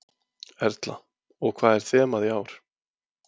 Erla: Og hvað er þemað í ár?